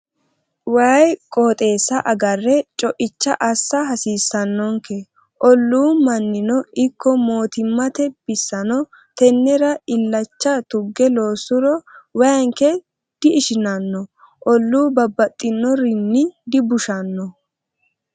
Waayi qooxeesa agare coicha assa hasiisanonke ollu mannino ikko mootimmate bissano tenera illacha tuge loosuro waayinke di'ishinanno olluno babbaxinorinni dibushano.